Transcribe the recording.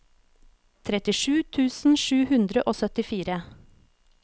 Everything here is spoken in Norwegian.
trettisju tusen sju hundre og syttifire